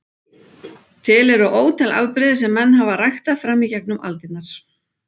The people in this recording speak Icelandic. Til eru ótal afbrigði sem menn hafa ræktað fram í gegnum aldirnar.